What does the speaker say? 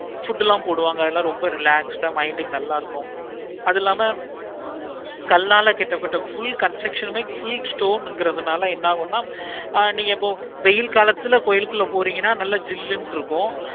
food எல்லாம் போடுவாங்க அதுல ரொம்ப relax ஆஹ் mind க்கு நல்ல இருக்கும். அது இல்லாம கல்லால கட்டப்பட்ட full construction மே stone கிரணால என்னாகுண ஆஹ் நீங்க இப்போ வெயில் காலத்துல கோயிலுக்குள்ள போரிங்கான நல்ல ஜில்லுனு இருக்கும்.